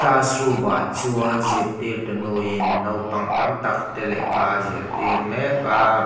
classroomah chuan zirtir tunu in naupang tamtak te lehkha a zirtir mek a.